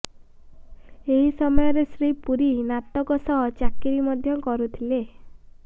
ଏହି ସମୟରେ ଶ୍ରୀ ପୂରୀ ନାଟକ ସହ ଚାକିରି ମଧ୍ୟ କରୁଥିଲେ